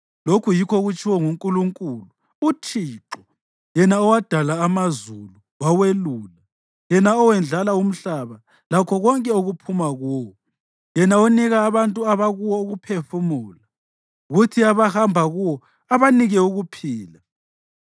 Lokhu yikho okutshiwo nguNkulunkulu uThixo, yena owadala amazulu wawelula, yena owendlala umhlaba lakho konke okuphuma kuwo, yena onika abantu abakuwo ukuphefumula, kuthi abahamba kuwo abanike ukuphila: